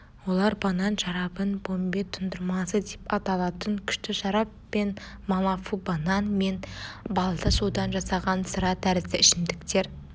олар банан шарабын помбе тұндырмасы деп аталатын күшті шарап пен малафубанан мен балды судан жасаған сыра тәрізді ішімдіктер